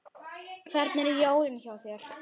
Hvernig eru jólin hjá þér?